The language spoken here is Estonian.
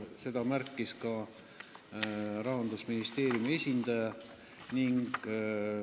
Seda märkis ka Rahandusministeeriumi esindaja.